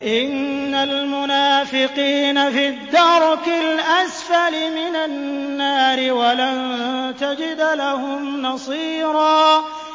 إِنَّ الْمُنَافِقِينَ فِي الدَّرْكِ الْأَسْفَلِ مِنَ النَّارِ وَلَن تَجِدَ لَهُمْ نَصِيرًا